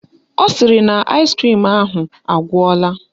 Ọ sịrị na aịskrim ahụ agwụla